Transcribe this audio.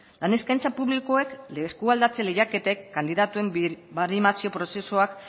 lan eskaintza publikoek lekualdatze lehiaketek kandidatuen birbaremazio prozesuak